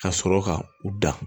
Ka sɔrɔ ka u dan